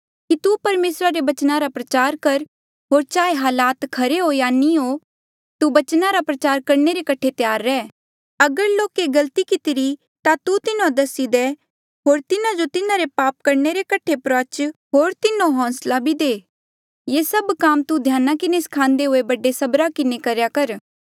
कि तू परमेसरा रे बचना रा प्रचार कर होर चाहे हालात खरे हो या नी तू बचना रा प्रचार करणे रे कठे त्यार रेह अगर लोके गलती कितिरी ता तू तिन्हों दसी दे होर तिन्हा जो तिन्हारे पाप करणे रे कठे प्रुआच होर तिन्हों होंसला भी दे ये सभ काम तू ध्याना किन्हें स्खान्दे हुए बड़े सबरा किन्हें करेया